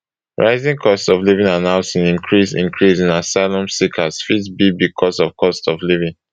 rising cost of living and housing increase increase in asylum seekers fit be becos of cost of living